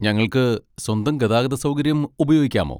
ഞങ്ങൾക്ക് സ്വന്തം ഗതാഗത സൗകര്യം ഉപയോഗിക്കാമോ?